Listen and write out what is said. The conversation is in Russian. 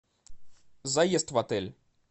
заезд в отель